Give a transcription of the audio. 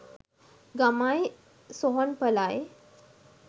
ගමයි සොහොන්පලයි